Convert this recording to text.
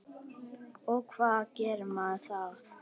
Og hvernig gerir maður það?